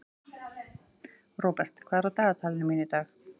Robert, hvað er á dagatalinu mínu í dag?